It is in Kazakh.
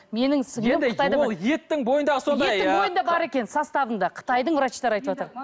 менің еттің бойындағы еттің бойында бар екен составында қытайдың врачтары айтыватыр